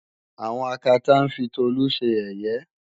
àwọn Akátá ń fi Tolú ṣe yẹ̀yẹ́